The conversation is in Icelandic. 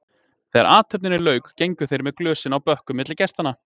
Þegar athöfninni lauk gengu þeir með glösin á bökkum milli gestanna.